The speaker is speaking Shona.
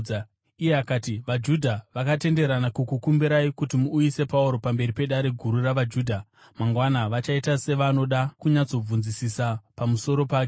Iye akati, “VaJudha vakatenderana kukukumbirai kuti muuyise Pauro pamberi peDare Guru ravaJudha mangwana vachiita sevanoda kunyatsobvunzisisa pamusoro pake.